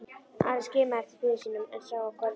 Ari skimaði eftir föður sínum en sá hann hvergi.